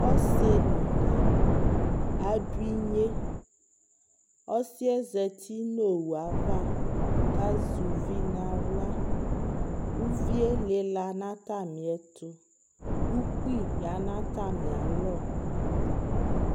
ɔsiinʋɔnyi adʋinyɛ, ɔsiiɛ zatinʋ nʋ ɔwʋ aɣa kʋ azɛ ʋvi nʋ ala, ʋviɛ lila nʋ atami ɛtʋ, ʋkpi yanʋ atami alɔ